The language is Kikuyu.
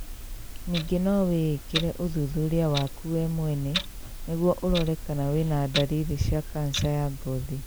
Ningĩ no wĩikĩre ũthuthuria waku we mwene nĩguo ũrore kana wĩna dariri cia kanja ya ngothi